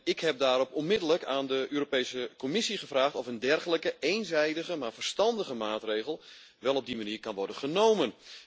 Ik heb daarop onmiddellijk aan de Europese Commissie gevraagd of een dergelijke eenzijdige maar verstandige maatregel wel op die manier kan worden genomen.